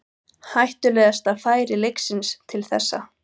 Hættulegasta færi leiksins til þessa.